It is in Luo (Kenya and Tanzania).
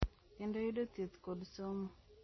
Kendo yudo thieth kod somo.